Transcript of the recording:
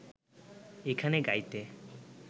এখানে গাইতে